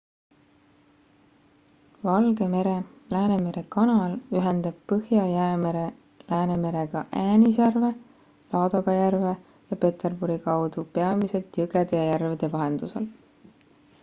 valge mere läänemere kanal ühendab põhja-jäämere läänemerega äänisjärve laadoga järve ja peterburi kaudu peamiselt jõgede ja järvede vahendusel